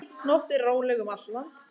Nóttin róleg um allt land